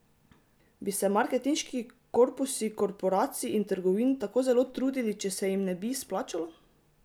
Bi se marketinški korpusi korporacij in trgovin tako zelo trudili, če se jim ne bi splačalo?